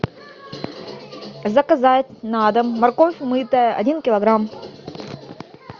заказать на дом морковь мытая один килограмм